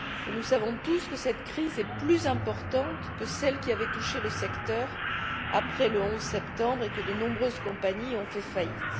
Nous savons tous que cette crise est plus importante que celle qui avait touché le secteur après le 11 septembre, et que de nombreuses compagnies ont fait faillite.